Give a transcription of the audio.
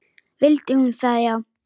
Vildi hún það já?